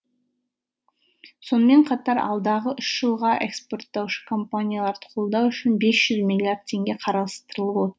сонымен қатар алдағы үш жылға эскпорттаушы компанияларды қолдау үшін бес жүз миллиард теңге қарастырылып отыр